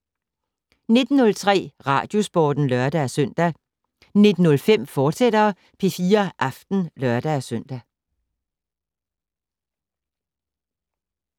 19:03: Radiosporten (lør-søn) 19:05: P4 Aften, fortsat (lør-søn)